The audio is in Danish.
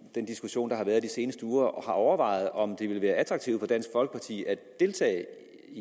den diskussion der har været i de seneste uger har overvejet om det ville være attraktivt for dansk folkeparti at deltage i